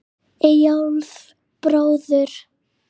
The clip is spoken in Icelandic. Eyjólf bróður.